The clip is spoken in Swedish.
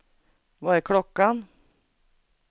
Vad är klockan